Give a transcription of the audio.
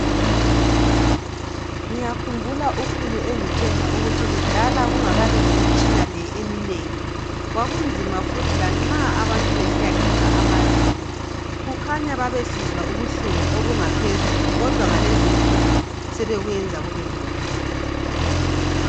Ngiyakhumbula ukhulu engitshela ukuthi kudala kungakabi lemitshina le eminengi kwakunzima futhi lanxa abantu besiyakhipha amazinyo. Kukhanya babesizwa ubuhlungu obungaphezulu kodwa ngalezi insuku sebekwenza kubengcono.